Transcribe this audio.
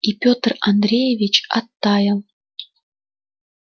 и пётр андреевич оттаял